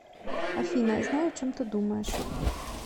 афина я знаю о чем ты думаешь